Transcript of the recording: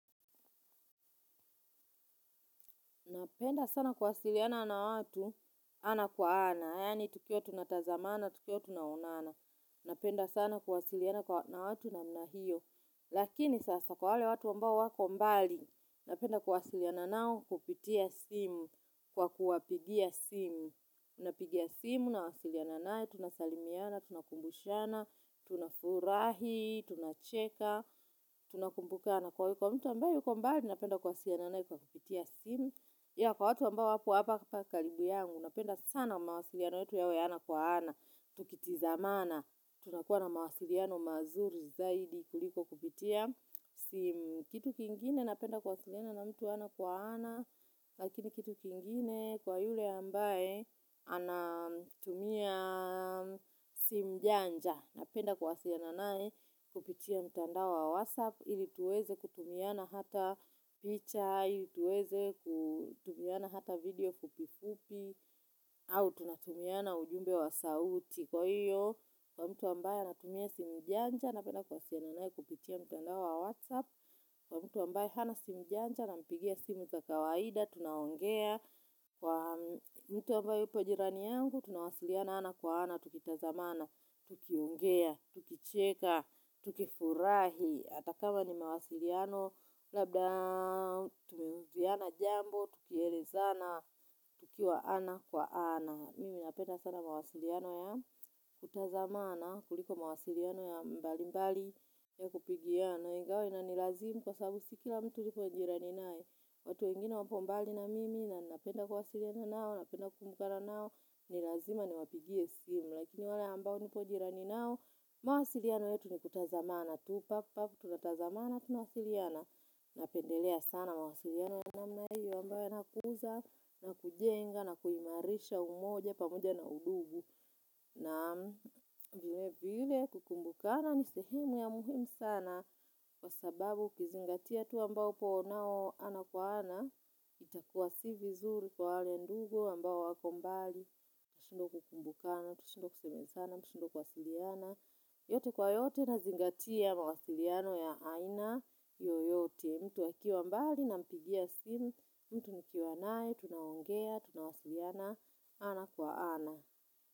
Napenda sana kuwasiliana na watu, ana kwa ana, yaani tukiwa tuna tazamana, tukiwa tunaonana. Napenda sana kuwasiliana na watu namna hiyo. Lakini sasa kwa wale watu ambao wako mbali, napenda kuwasiliana nao kupitia simu kwa kuwapigia simu. Napiga simu, nawasiliana naye, tunasalimiana, tunakumbushana, tunafurahi, tunacheka, tunakumbukana. Na kwa mtu ambayo yuko mbali napenda kuwasiliana naye kwa kupitia simu. Na kwa watu ambao wako hapa karibu yangu napenda sana mawasiliano yetu yawe ya ana kwa ana. Tukitizamana tunakuwa na mawasiliano mazuri zaidi kuliko kupitia simu. Kitu kingine napenda kuwasiliana na mtu ana kwa ana. Lakini kitu kingine kwa yule ambaye anatumia simu janja. Napenda kuwasiliana naye kupitia mtandao wa whatsapp. Ili tuweze kutumiana hata picture, ili tuweze kutumiana hata video kupifupi au tunatumiana ujumbe wa sauti kwa hiyo kwa mtu ambaye anatumia simu janja napenda kuwasiliana naye kupitia mtandao wa whatsapp kwa mtu ambaye hana simu janja na mpigia simu za kawaida tunaongea kwa mtu ambaye yuko jirani yangu tunawasiliana ana kwa ana tukitazamana tukuingea tukicheka tukifurahi ata kama ni mawasiliano labda tukielezana jambo tukielezana tukiwa ana kwa ana mimi napenda sana mawasiliano ya kutazamana kuliko mawasiliano ya mbali mbali ya kupigiana ingawa inanilazimu kwa sababu si kila mtu niko na jirani naye. Watu wengine wapo mbali na mimi na napenda kuwasiliano nao, napenda kumukana nao, ni lazima niwapigie simu. Lakini wale ambao nipo jirani nao, mawasiliano yetu ni kutazamana tu, pap pap, tunatazamana, tunawasiliana, napendelea sana mawasiliano ya namna hii ambaye yana kuza, na kujenga, na kuimarisha umoja, pamoja na undugu, na vile vile kukumbukana ni sehemu ya muhimu sana, kwa sababu ukizingatia tu ambapo uonao ana kwa ana, itakuwa si vizuri kwa wale ndugu ambao wako mbali, mshindwe kukumbukana, mshindwe kusemezana, mshindwe kuwasiliana. Yote kwa yote na zingatia mawasiliano ya aina yoyote. Mtu akiwa mbali nampigia simu, mtu nikiwa nae, tunaongea, tunawasiliana, ana kwa ana.